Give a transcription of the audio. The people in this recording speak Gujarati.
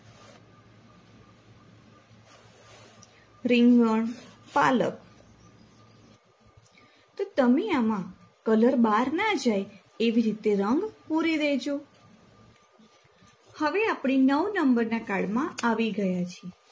રીંગણ પાલક તો તમે આમા color બાર ના જાય એવી રીતે રંગ પૂરી દેજો હવે આપણે નવ નંબરના card માં આવી ગયા છીએ.